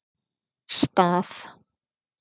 Stað